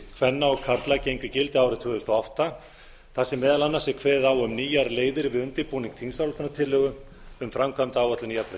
kvenna og karla gengu í gildi árið tvö þúsund og átta þar sem meðal annars er kveðið á um nýjar leiðir við undirbúning þingsályktunartillögu um framkvæmdaáætlun í